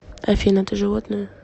афина ты животное